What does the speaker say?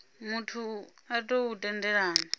muthu a tou hu tendelela